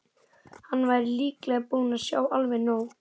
Hann væri líklega búinn að sjá alveg nóg.